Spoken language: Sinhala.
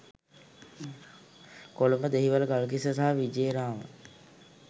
කොළඹ දෙහිවල ගල්කිස්ස සහ විජේරාම